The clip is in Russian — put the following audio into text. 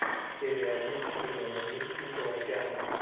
серия один сезон один тихого океана